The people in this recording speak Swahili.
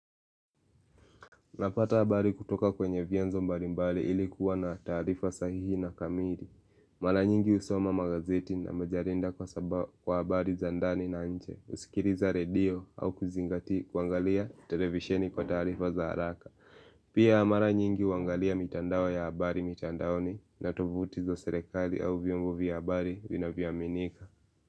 Napata habari kutoka kwenye vienzo mbalimbali ilikuwa na tarifa sahihi na kamiri. Mara nyingi husoma magazeti na majarida kwa sabao kwa abari zandani na nche. Usikiriza redio au kuzingati kuangalia televisheni kwa tarifa za haraka. Pia mara nyingi uangalia mitandao ya abari mitandaoni na tuvuti zo serekali au vyombo vya abari vinavyoaminika.